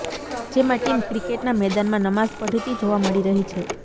જેમાં ટીમ ક્રિકેટના મેદાનમાં નમાઝ પઢતી જોવા મળી રહી છે